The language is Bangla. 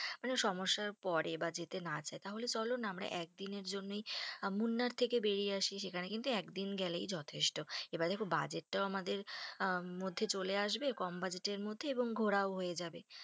মানে সমস্যার পরে বা যেতে না চাই, তাহলে চলো না আমরা একদিনের জন্যই মুনার থেকেই বেরিয়ে আসি, সেখানে কিন্তু একদিন গেলেই যথেষ্ট এবার দেখো budget টাও আমাদের মধ্যে চলে আসবে, কম budget এর মধ্যে আর ঘোরার ও হয়ে যাবে।